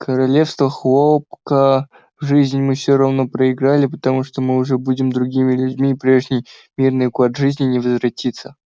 королевство хлопка в жизнь мы всё равно проиграли потому что мы уже будем другими людьми и прежний мирный уклад жизни не возвратится